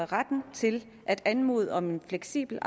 retten til at anmode om en fleksibel